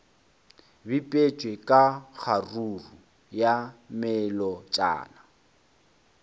bipetšwe ka kgaruru ya melotšana